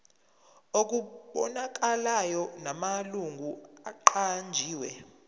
okubonakalayo namalungu aqanjiwe